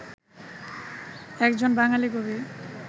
একজন বাঙালি কবি